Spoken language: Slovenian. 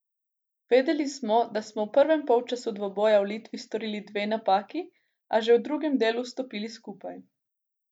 Vedeli smo, da smo v prvem polčasu dvoboja v Litvi storili dve napaki, a že v drugem delu stopili skupaj.